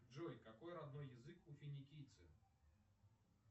джой какой родной язык у финикийцы